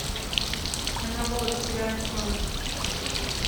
энэло теряю сон